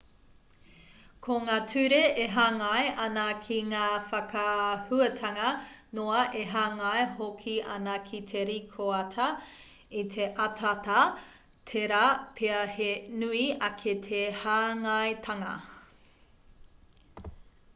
ko ngā ture e hāngai ana ki ngā whakaahuatanga noa e hāngai hoki ana ki te rīkoata i te ataata tērā pea he nui ake te hāngaitanga